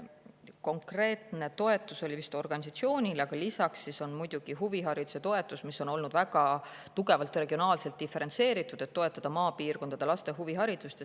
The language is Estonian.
Konkreetne toetus oli vist organisatsioonile, aga lisaks on muidugi huvihariduse toetus, mis on olnud väga tugevalt regionaalselt diferentseeritud, et toetada maapiirkondade laste huviharidust.